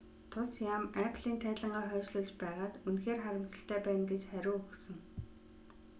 тус яам apple-н тайлангаа хойшлуулж байгаад үнэхээр харамсалтай байна гэж хариу өгсөн